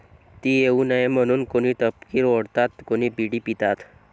ती येऊ नये म्हणून कोणी तपकीर ओढतात, कोणी बिडी पितात.